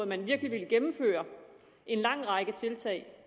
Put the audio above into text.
man virkelig ville gennemføre en lang række tiltag